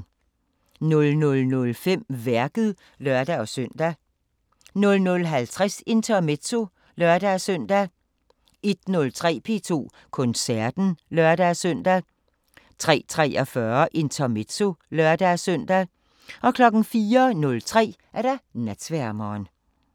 00:05: Værket (lør-søn) 00:50: Intermezzo (lør-søn) 01:03: P2 Koncerten (lør-søn) 03:43: Intermezzo (lør-søn) 04:03: Natsværmeren